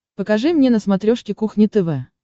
покажи мне на смотрешке кухня тв